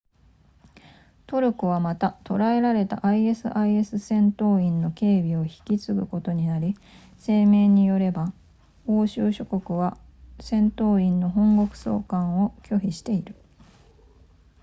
トルコはまた捉えられた isis 戦闘員の警備を引き継ぐことになり声明によれば欧州諸国は戦闘員の本国送還を拒否している